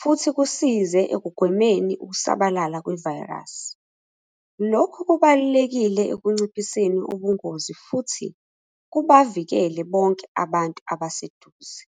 futhi kusize ekugwemeni ukusabalala kwevayirasi. Lokhu kubalulekile ekunciphiseni ubungozi futhi kubavikele bonke abantu abaseduze.